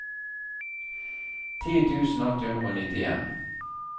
ti tusen åtte hundre og nittien